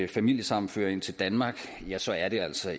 familiesammenføring til danmark ja så er det altså